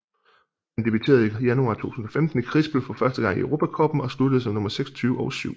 Han debuterede i januar 2015 i Krispl for første gang i Europa Cuppen og sluttede som nummer 26 og 7